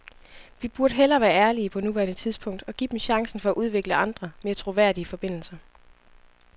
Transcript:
Vi burde hellere være ærlige på nuværende tidspunkt og give dem chancen for at udvikle andre, mere troværdige forbindelser.